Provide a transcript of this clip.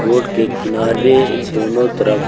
road के किनारे दोनों तरफ--